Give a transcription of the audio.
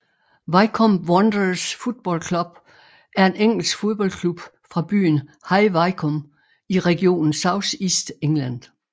Wycombe Wanderers Football Club er en engelsk fodboldklub fra byen High Wycombe i regionen South East England